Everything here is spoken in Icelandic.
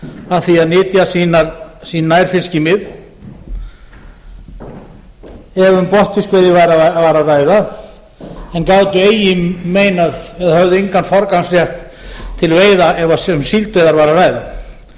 að því að nytja sín nærfiskimið ef um botnfiskveiði var að ræða en gátu eigi meinað eða höfðu engan forgangsrétt til veiða ef um síldveiðar var að ræða þar áttu